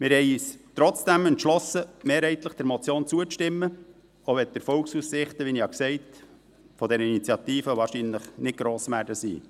Wir haben uns trotzdem entschlossen, mehrheitlich der Motion zuzustimmen, auch wenn die Erfolgsaussichten dieser Initiative – wie ich gesagt habe – wahrscheinlich nicht gross sein werden.